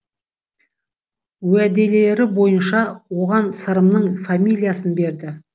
уәделері бойынша оған сырымның фамилиясын берді